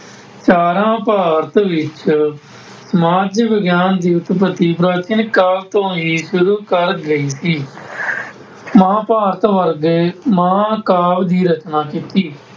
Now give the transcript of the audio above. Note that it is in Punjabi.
ਚਾਰਾਂ ਭਾਰਤ ਵਿੱਚ, ਸਮਾਜਿਕ ਵਿਗਿਆਨ ਦੀ ਉਤਪਤੀ ਪ੍ਰਾਚੀਨ ਕਾਲ ਤੋਂ ਹੀ ਸ਼ੁਰੂ ਕਰ ਗਏ ਸੀ। ਮਹਾਂਭਾਰਤ ਵਰਗੇ ਮਹਾਂਕਾਲ ਦੀ ਰਚਨਾ ਕੀਤੀ।